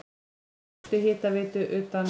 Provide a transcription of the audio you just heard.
Fyrstu hitaveitu utan